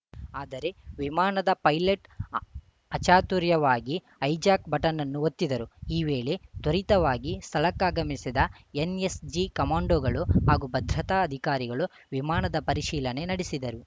ಆದರೆ ವಿಮಾನದ ಪೈಲಟ್‌ ಅ ಅಚಾತುರ್ಯವಾಗಿ ಹೈಜಾಕ್‌ ಬಟನ್‌ ಅನ್ನು ಒತ್ತಿದರು ಈ ವೇಳೆ ತ್ವರಿತವಾಗಿ ಸ್ಥಳಕ್ಕಾಗಮಿಸಿದ ಎನ್‌ಎಸ್‌ಜಿ ಕಮಾಂಡೋಗಳು ಹಾಗೂ ಭದ್ರತಾ ಅಧಿಕಾರಿಗಳು ವಿಮಾನದ ಪರಿಶೀಲನೆ ನಡೆಸಿದರು